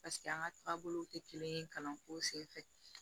paseke an ga taabolow te kelen ye kalanko sen fɛ